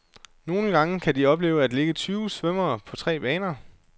Nogle gange kan de opleve at ligge tyve svømmere på tre baner.